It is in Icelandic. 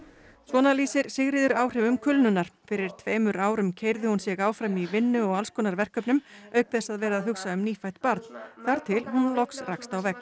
svona lýsir Sigríður áhrifum kulnunar fyrir tveimur árum keyrði hún sig áfram í vinnu og alls konar verkefnum auk þess að vera að hugsa um nýfætt barn þar til hún loks rakst á vegg